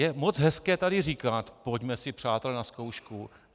Je moc hezké tady říkat - pojďme si, přátelé, na zkoušku.